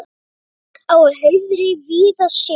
Berg á hauðri víða sérð.